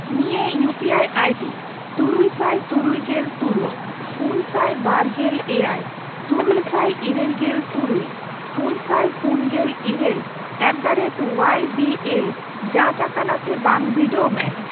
ᱱᱤᱭᱟᱹ UPI ID ᱛᱩᱨᱩᱭᱥᱟᱭ ᱛᱩᱨᱩᱭᱜᱮᱞ ᱛᱩᱨᱩᱭ, ᱯᱩᱱᱥᱟᱭ ᱵᱟᱨᱜᱮᱞ ᱮᱭᱟᱭ, ᱛᱩᱨᱩᱭᱥᱟᱭ ᱤᱨᱟᱹᱞᱜᱮᱞ ᱛᱩᱨᱩᱭ, ᱯᱩᱱᱥᱟᱭ ᱯᱩᱱᱜᱮᱞ ᱤᱨᱟᱹᱞ ᱮᱴᱫᱟᱨᱮᱴ ᱳᱣᱟᱭ ᱵᱤ ᱮᱞ ᱡᱟᱸᱪ ᱟᱠᱟᱱᱟ ᱥᱮ ᱵᱟᱝ ᱵᱤᱰᱟᱹᱣ ᱢᱮ ᱾